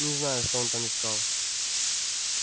не знаю что он там искал